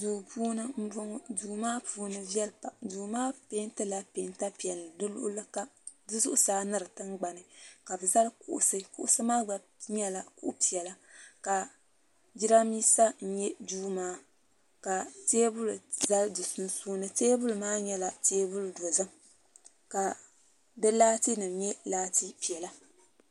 Duu puuni m boŋɔ duu maa puuni viɛli pam du. maa pentila penta piɛlli di luɣuli kam di zuɣusaa ni di tingbani ka bɛ zali kuɣusi kuɣusi maa gba nyɛla kuɣu piɛla ka jirambisa n nyɛ duu maa ka teebuli za di sunsuuni teebuli maa nyɛla teebuli dozim ka di laati nima nyɛ laati piɛla.